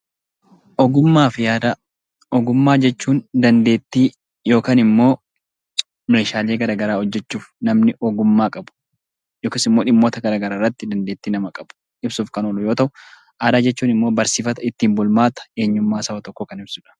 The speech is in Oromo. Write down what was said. Ogummaa fi aadaa. Ogummaa jechuun dandeettii yookiin immoo meeshaalee gara garaa hojjechuuf namni ogummaa qabu yookiis immoo dhimmoota gara garaa irratti dandeettii nama qabu ibsuuf kan oolu yoo ta'u; Aadaa jechuun immoo barsiifata, ittiin bulmaata eenyummaa saba tokkoo kan ibsu dha.